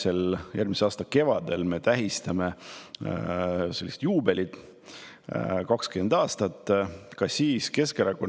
Ehk järgmise aasta kevadel tähistame sellist juubelit – 20 aasta möödumist.